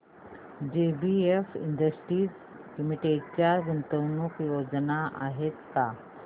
JBF industries limited च्या गुंतवणूक योजना आहेत का